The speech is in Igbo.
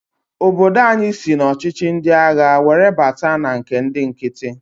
Obodo anyị sị n'ọchịchị ndi agha were bata na nke ndị nkiti.